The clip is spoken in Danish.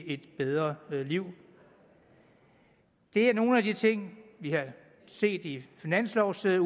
et bedre liv det er nogle af de ting vi har set i finanslovudspillet